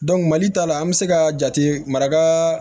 mali ta la an bɛ se ka jate maraka